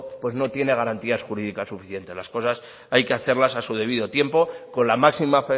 no tiene garantías jurídicas suficientes las cosas hay que hacerlas a su debido tiempo con la máxima